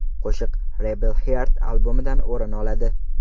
Qo‘shiq Rebel Heart albomidan o‘rin oladi.